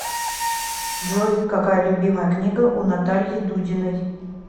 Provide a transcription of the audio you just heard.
джой какая любимая книга у натальи дудиной